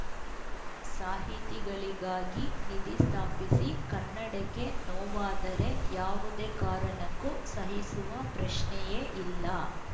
ಸಾಹಿತಿಗಳಿಗಾಗಿ ನಿಧಿ ಸ್ಥಾಪಿಸಿ ಕನ್ನಡಕ್ಕೆ ನೋವಾದರೆ ಯಾವುದೇ ಕಾರಣಕ್ಕೂ ಸಹಿಸುವ ಪ್ರಶ್ನೆಯೇ ಇಲ್ಲ